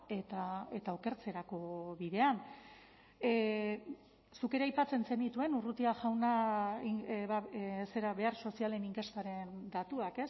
eta okertzerako bidean zuk ere aipatzen zenituen urrutia jauna zera behar sozialen inkestaren datuak